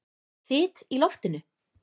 Þyt í loftinu?